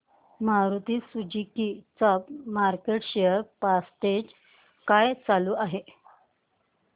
Maruti Suzuki चा market share percentage काय चालू आहे